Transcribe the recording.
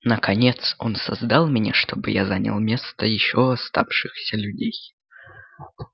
наконец он создал меня чтобы я занял место ещё оставшихся людей